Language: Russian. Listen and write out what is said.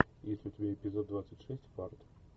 есть ли у тебя эпизод двадцать шесть фарт